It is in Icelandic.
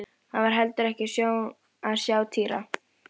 Þið fáið hann vélritaðan eftir helgi.